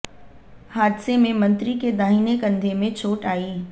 हादसे में मंत्री के दाहिने कंधे में चोट आई